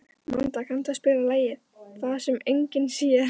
Manda, kanntu að spila lagið „Það sem enginn sér“?